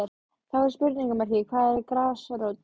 Þá er spurningamerki hvað er grasrót?